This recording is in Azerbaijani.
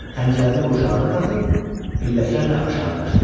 Xəncərini qurşağına taxıb pilləkənlə aşağı qaçdı.